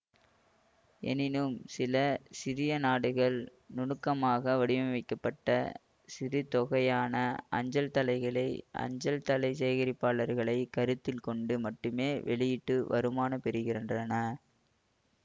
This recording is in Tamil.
எனினும் சில சிறிய நாடுகள் நுணுக்கமாக வடிவமைக்கப்பட்ட சிறுதொகையான அஞ்சல்தலைகளை அஞ்சல்தலை சேகரிப்பாளர்களைக் கருத்தில் கொண்டு மட்டுமே வெளியிட்டு வருமானம் பெறுகின்றன